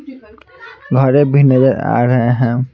घरे भी नजर आ रहे हैं।